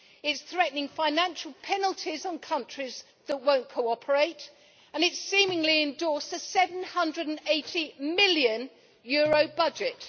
It is threatening financial penalties on countries that will not cooperate and it has seemingly endorsed a EUR 780 million budget.